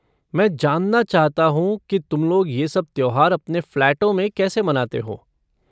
मैं जानना चाहता हूँ कि तुम लोग ये सब त्योहार अपने फ़्लैटों में कैसे मनाते हो।